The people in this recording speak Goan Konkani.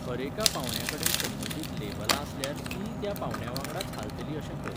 हरेका पावंड्याकडेन संबंदीत लेबलां आसल्यार तींय त्या पावंड्यावांगडाच हालतलीं अशें कर.